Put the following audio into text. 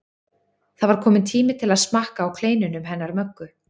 Það var kominn tími til að smakka á kleinunum hennar Möggu.